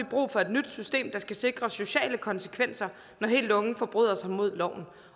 brug for et nyt system der skal sikre sociale konsekvenser når helt unge forbryder sig mod loven